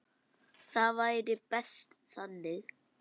Það væri best þannig.